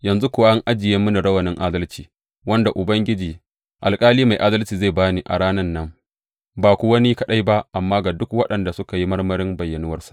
Yanzu kuwa an ajiye mini rawanin adalci, wanda Ubangiji, Alƙali mai adalci zai ba ni a ranan nan ba kuwa ni kaɗai ba, amma ga duk waɗanda suka yi marmarin bayyanuwarsa.